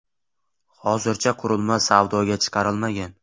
Hozircha qurilma savdoga chiqarilmagan.